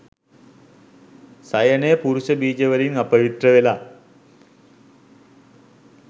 සයනය පුරුෂ බීජ වලින් අපවිත්‍ර වෙලා